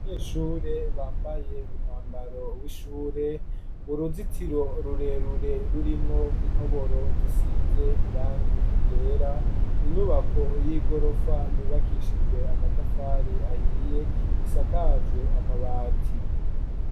Abanyeshure, bambaye umwambaro w'ishure, uruzitiro rurerure, rurimwo intoboro, zisize irangi ryera, inyubako y'igorofa, yubakishijwe amatafari ahiye, isakajwe amabati.